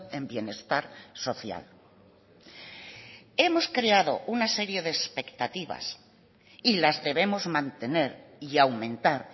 en bienestar social hemos creado una serie de expectativas y las debemos mantener y aumentar